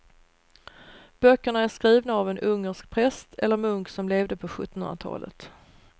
Böckerna är skrivna av en ungersk präst eller munk som levde på sjuttonhundratalet.